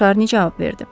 Şarni cavab verdi.